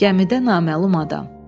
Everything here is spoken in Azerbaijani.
Gəmidə naməlum adam.